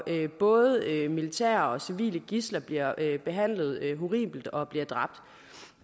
både militære og civile gidsler bliver behandlet horribelt og bliver dræbt